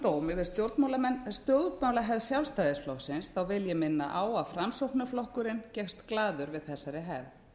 dóm yfir stjórnmálahefð sjálfstæðisflokksins vil ég minna á að framsóknarflokkurinn gekkst glaður við þessari hefð